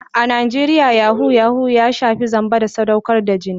A Najeriya yahoo + ya shafi zamba da sadaukar da jini.